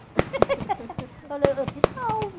falou eu te salvo.